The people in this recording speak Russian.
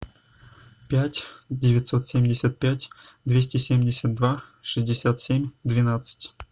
пять девятьсот семьдесят пять двести семьдесят два шестьдесят семь двенадцать